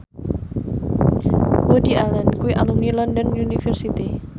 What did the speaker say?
Woody Allen kuwi alumni London University